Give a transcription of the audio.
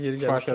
Yeri gəlmişkən.